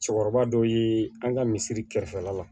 Cɛkɔrɔba dɔ ye an ka misiri kɛrɛfɛla la